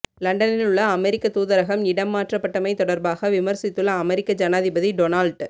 லண்டனிலுள்ள அமெரிக்கத் தூதரகம் இடம் மாற்றப்பட்டமை தொடர்பாக விமர்சித்துள்ள அமெரிக்க ஜனாதிபதி டொனால்ட்